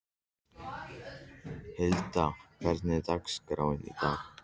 Hilda, hvernig er dagskráin í dag?